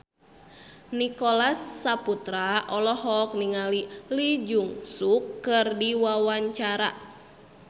Nicholas Saputra olohok ningali Lee Jeong Suk keur diwawancara